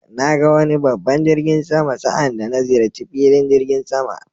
Na ga wani babban jirgin sama sa' anda na ziyarci filin jirigin sama.